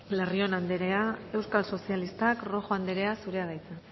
larrion anderea euskal sozialistak rojo anderea zurea da hitza